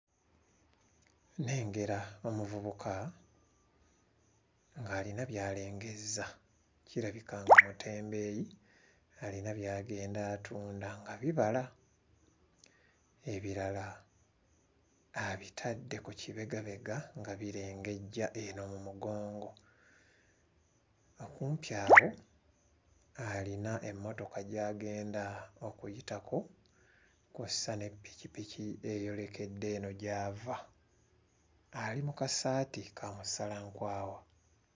Nnengera omuvubuka ng'alina by'alengezza kirabika nga mutebeeyi alina by'agenda atunda nga bibala, ebirala abitadde ku kibegabega nga birengejja eno mu mugongo. Okumpi awo alina emmotoka gy'agenda okuyitako kw'ossa n'eppikipiki eyolekedde eno gy'ava. Ali mu kasaati ka musalankwawa.